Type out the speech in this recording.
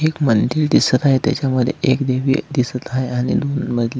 एक मंदिर दिसत आहे त्याच्यामध्ये एक दिव्य दिसत आहे आणि दोन मजली--